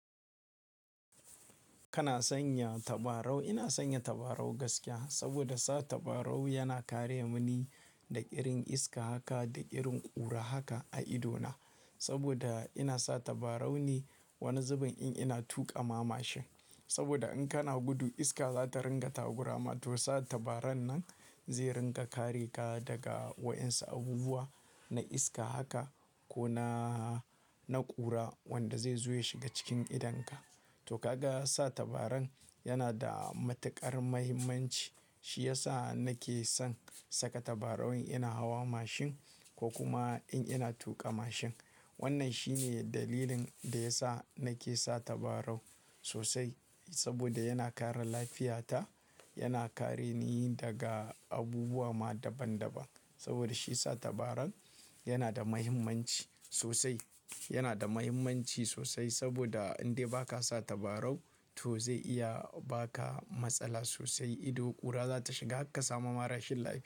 Kana sanya tabarau? Ina sanya tabarau gaskiya saboda sa tabarau yana kare mini daga irin iska haka da irin ƙura haka a idona. Saboda ina sa tabarau ne wani zubin in ina tuƙa ma mashin. Saboda in kana gudu iska za ta ringa takurama to sa tabaran nan zai ringa kare ka daga wa'ensu abubuwa na iska haka ko na, na ƙura wanda zai zo ya shiga cikin idonka. To ka ga sa tabaran yana da matuƙar mahimmanci, shi ya sa nake son saka tabarau in ina hawa mashin ko kuma in ina tuƙa mashin. Wannan shi ne dalilin da ya sa nake sa tabarau sosai saboda yana kare lafiyata, yana kare ni daga abubuwa ma daban-daban. Saboda shi sa tabaran yana da mahimmanci sosai, yana da mahimmanci sosai saboda in dai ba ka sa tabarau to zai iya ba ka matsala sosai. Ido ƙura za ta shiga hakka samuma rashin lafiya.